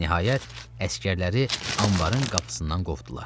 Nəhayət, əsgərləri anbarın qapısından qovdular.